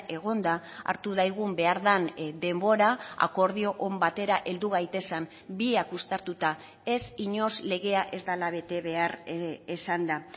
egonda hartu daigun behar den denbora akordio on batera heldu gaitezen biak uztartuta ez inoiz legea ez dela bete behar esanda